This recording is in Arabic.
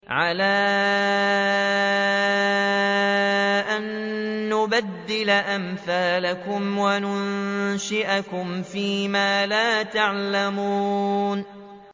عَلَىٰ أَن نُّبَدِّلَ أَمْثَالَكُمْ وَنُنشِئَكُمْ فِي مَا لَا تَعْلَمُونَ